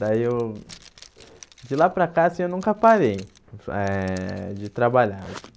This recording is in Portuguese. Daí eu... De lá para cá, assim, eu nunca parei eh de trabalhar.